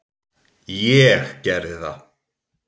Ég gerði það.